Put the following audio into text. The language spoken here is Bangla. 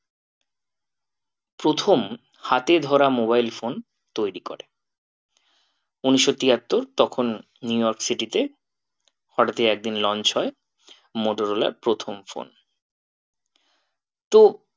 প্রথম হাতে ধরা mobile phone তৈরী করে। উনিশশো তিয়াত্তর তখন নিউইয়র্ক city তে হঠাৎই একদিন launch হয় মোটরলার প্রথম phone তো